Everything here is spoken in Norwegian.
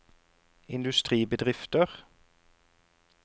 industribedrifter